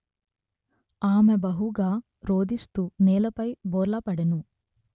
ఆమె బహుగా రోదిస్తూ నేలపై బోర్లా పడెను